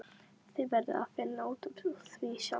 Þið verðið að finna út úr því sjálf.